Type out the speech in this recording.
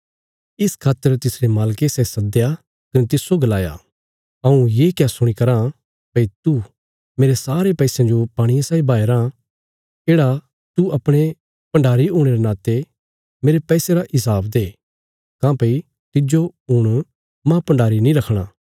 इस खातर तिसरे मालके सै सद्दया कने तिस्सो गलाया हऊँ ये क्या सुणी कराँ भई तू मेरे सारे पैसयां जो पाणिये साई बहाया राँ येढ़ा तू अपणे भण्डारी हुणे रे नाते मेरे पैसे रा हिसाब दे काँह्भई तिज्जो हुण माह भण्डारी नीं रखणा